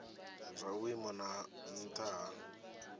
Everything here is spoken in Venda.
zwa vhuimo ha nha hu